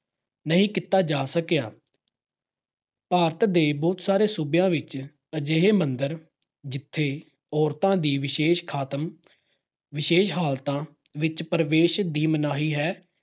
ਨਹੀਂ ਕੀਤਾ ਜਾ ਸਕਿਆ। ਭਾਰਤ ਦੇ ਬਹੁਤ ਸਾਰੇ ਸੂਬਿਆਂ ਵਿੱਚ ਅਜਿਹੇ ਮੰਦਰ ਜਿੱਥੇ ਔਰਤਾਂ ਦੀ ਵਿਸ਼ੇਸ਼ ਖਾਤਮ, ਵਿਸ਼ੇਸ਼ ਹਾਲਤਾਂ ਵਿੱਚ ਪ੍ਰਵੇਸ਼ ਦੀ ਮਨਾਹੀ ਹੈ।